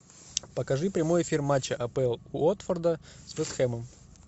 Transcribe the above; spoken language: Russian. покажи прямой эфир матча апл уотфорда с вест хэмом